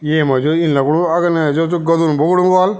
येमा जू इन लगणु अगने जो च गदन बग्णु वाल।